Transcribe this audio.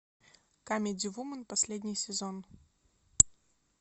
камеди вумен последний сезон